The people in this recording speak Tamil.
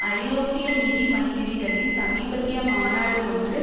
ஐரோப்பிய நிதி மந்திரிகளின் சமீபத்திய மாநாடு ஒன்று